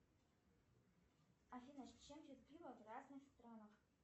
афина с чем пьют пиво в разных странах